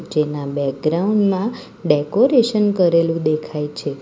જેના બેક્ગ્રાઉન્ડ માં ડેકોરેશન કરેલું દેખાય છે.